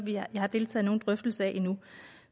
jeg har deltaget i nogen drøftelse af endnu